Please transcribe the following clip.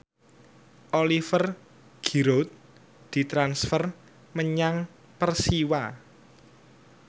Oliver Giroud ditransfer menyang Persiwa